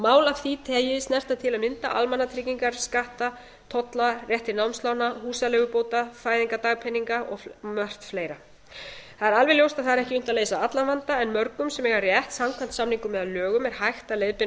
mál af því tagi snerta til að mynda almannatryggingar skatta tolla rétt til námslána húsaleigubóta fæðingardagpeninga og margt fleira það er alveg ljóst að það er ekki unnt að leysa allan vanda en mörgum sem eiga rétt samkvæmt samningum eða lögum er hægt að leiðbeina og